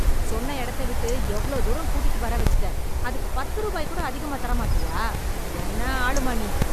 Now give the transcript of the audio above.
சொன்ன எடத்த விட்டு எவ்ளோ தூரம் கூட்டிட்டு வர வச்சுட்ட, அதுக்கு பத்து ருபாய் கூட அதிகமா தர மாட்டியா, என்ன ஆளும்மா நீ?